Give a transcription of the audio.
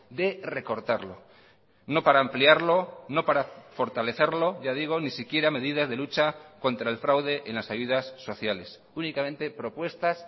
de recortarlo no para ampliarlo no para fortalecerlo ya digo ni siquiera medidas de lucha contra el fraude en las ayudas sociales únicamente propuestas